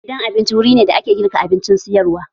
Gidan abinci wuri ne da ake girka abincin sayarwa